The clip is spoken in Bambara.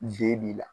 B b'i la